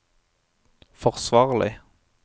forsvarlig